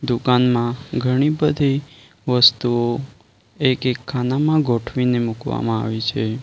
દુકાનમાં ઘણી બધી વસ્તુઓ એક-એક ખાનામાં ગોઠવીને મૂકવામાં આવી છે.